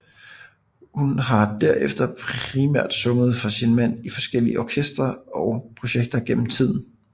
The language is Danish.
Hun har derefter primært sunget for sin mand i hans forskellige orkestre og projekter igennem tiden